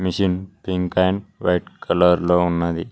Gin pink and white colour లో ఉన్నవి.